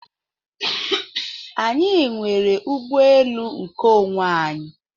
Anyị nwere ụgbọelu nkeonwe anyị.